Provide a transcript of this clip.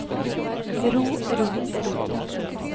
ro ro ro